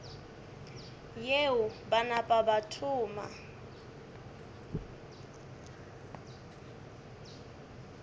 yeo ba napa ba thoma